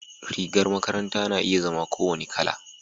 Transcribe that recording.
rigar makaranta na iya zama ko wani Kala